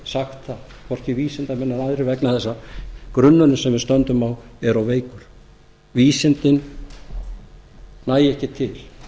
sagt það hvorki vísindamenn eða aðrir vegna þess að grunnurinn sem við stöndum á er of veikur vísindin nægja ekki til